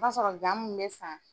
O b'a sɔrɔ gan mun bɛ san.